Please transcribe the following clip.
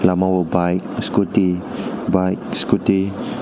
omo bike scooty bike scooty.